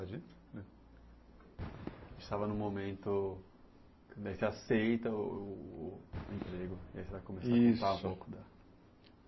A gente estava num momento que você aceita o o o emprego, Isso e aí você vai começar a contar um pouco tá.